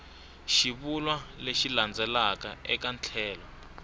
xivulwa lexi landzelaka eka tlhelo